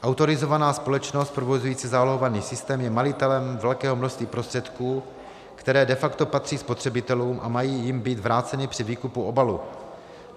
Autorizovaná společnost provozující zálohovaný systém je majitelem velkého množství prostředků, které de facto patří spotřebitelům a mají jim být vráceny při výkupu obalů.